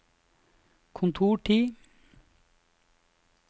kontortid